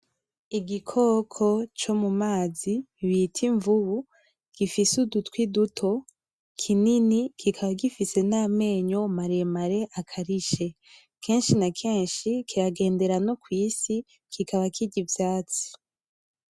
Igikoko co mu mazi bita imvubu, gifise udutwi duto, kinini, kikaba gifise n’amenyo maremare akarishe. Kenshi na kenshi kiragendera no kw’isi kikaba kirya ivyatsi.